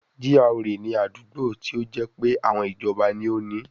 GRA ni àdúgbò tí ó jẹ́ pé àwọn ìjọba ni ó ni ín